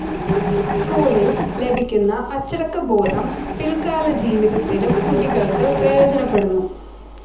സ്കൂളിൽ ലഭിക്കുന്ന അച്ചടക്കബോധം പിൽകാലജീവിതത്തിലും കുട്ടികൾക്ക് പ്രയോജനപ്പെടുന്നു.